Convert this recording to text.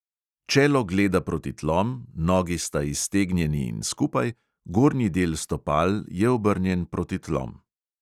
Čelo gleda proti tlom, nogi sta iztegnjeni in skupaj, gornji del stopal je obrnjen proti tlom.